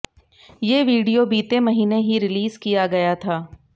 ये वीडियो बीते महीने ही रिलीज किय गया था